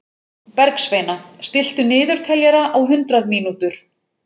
Bergsveina, stilltu niðurteljara á hundrað mínútur.